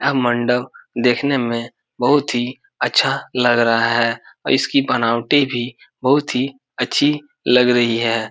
यह मंडप देखने में बहुत ही अच्छा लग रहा है और इसकी बनावटी भी बहुत ही अच्छी लग रही है।